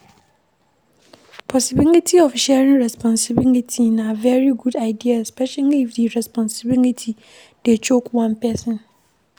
Possibility of sharing responsibility na very good idea especially if di responsibility dey choke one person